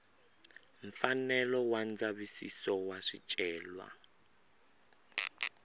mfanelo wa ndzavisiso wa swicelwa